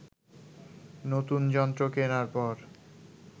নতুন যন্ত্র কেনার পর